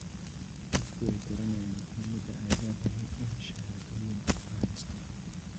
Dadku way garanayaan muhiimadda ay leedahay in shahaadooyin la haysto